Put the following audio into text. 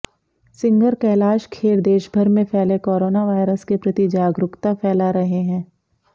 singer Kailash Kher देशभर में फैले कोरोना वायरस के प्रति जागरुकता फैला रहे हैं